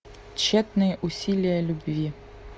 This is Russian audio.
тщетные усилия любви